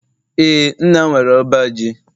ee, nna m nwere uba ji